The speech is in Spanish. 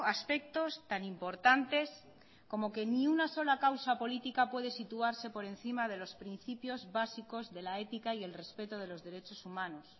aspectos tan importantes como que ni una sola causa política puede situarse por encima de los principios básicos de la ética y el respeto de los derechos humanos